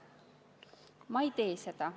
Ma ei tee seda.